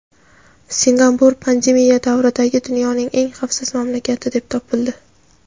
Singapur pandemiya davridagi dunyoning eng xavfsiz mamlakati deb topildi.